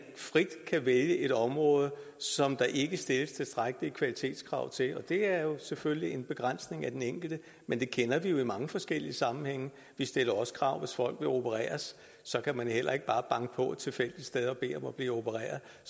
frit kan vælge et område som der ikke stilles tilstrækkelige kvalitetskrav til og det er selvfølgelig en begrænsning for den enkelte men det kender vi jo i mange forskellige sammenhænge vi stiller også krav hvis folk vil opereres så kan man heller ikke bare banke på tilfældige steder og bede om at blive opereret